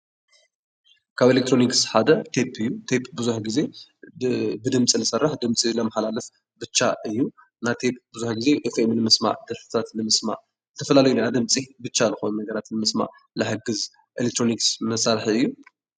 ካብ ኤሌክትሮኒክ ሓደ ቴፕ እዩ። ቴፕ ብዙሕ ግዜ ብድምፂ ዝሰርሕ ድምፂ ዘመሓላልፍ ብቻ እዩ። ናይ ቴፕ ብዙሕ ግዜ ቴፕ ድምፂ ንምስማ፣ ድምፅታት ንምስማዕ ዝተፈላለዩ ድምፂ ንምስማዕ ዝሕግዝ ኤሌክትሮኒክ መሳሪሒ እዩ።